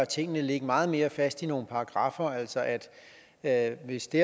tingene ligge meget mere fast i nogle paragraffer altså at at hvis det